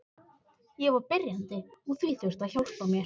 Ég var byrjandi og því þurfti að hjálpa mér.